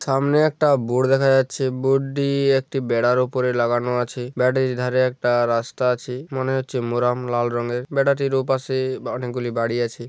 সামনে একটা বোর্ড দেখা যাচ্ছে বোর্ড দিয়ে একটি বেড়ার উপরে লাগানো আছে বাড়াটির এধারে একটা রাস্তা আছে মনে হচ্ছে মোরাম লাল রঙের বাড়িটার ওপাশে অনেক গুলি বাড়ি আছে।